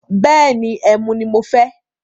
Bẹ́ẹ̀ni, ẹmu ni mo fẹ́.